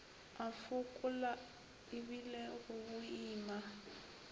a fokola ebile go boima